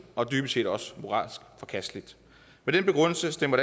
og dybest set også moralsk forkasteligt med den begrundelse stemmer